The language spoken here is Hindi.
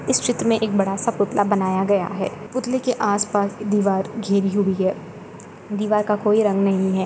इस चित्र में एक बड़ा सा पुतला बनाया गया है पुतले के आसपास दिवार घीरी हुई है दिवार का कोई रंग नहीं है।